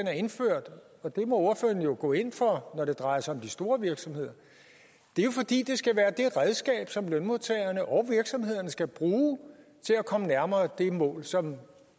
er indført og det må ordføreren jo gå ind for når det drejer sig om de store virksomheder det er jo fordi det skal være det redskab som lønmodtagerne og virksomhederne skal bruge til at komme nærmere det mål som